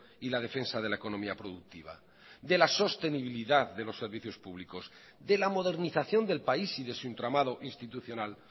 y la defensa de la economía productiva de la sostenibilidad de los servicios públicos de la modernización del país y de su entramado institucional